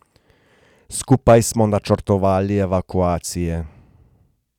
Skupaj smo načrtovali evakuacije.